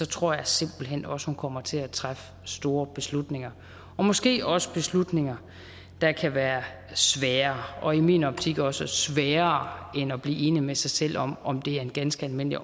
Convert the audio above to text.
tror jeg simpelt hen også at hun kommer til at træffe store beslutninger og måske også beslutninger der kan være svære og i min optik også sværere end at blive enig med sig selv om om det er en ganske almindelig